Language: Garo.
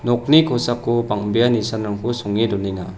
nokni kosako bang·bea nisanrangko songe donenga.